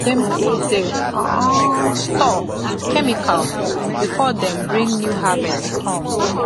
dem clean the um store with chemical before dem bring new harvest come